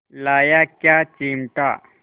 लाया क्या चिमटा